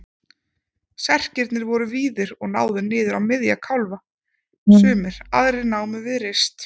Serkirnir voru víðir og náðu niður á miðja kálfa sumir, aðrir námu við rist.